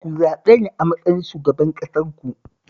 Ku zaɓe ni a matsayin shugaban ƙasarku